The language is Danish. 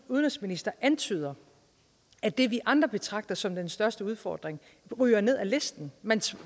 udenrigsminister antyder at det vi andre betragter som den største udfordring ryger ned ad listen man